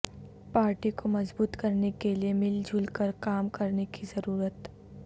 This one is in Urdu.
پارٹی کومضبوط کرنے کے لیے مل جل کرکام کرنے کی ضرورت